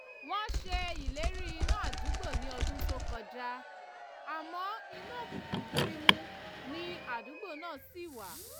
wọ́n ṣe ìlérí iná àdúgbò ní ọdún tó kọjá àmọ́ inú òkùnkùn gbirimù ni àdúgbò náà ṣì wà